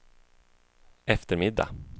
eftermiddag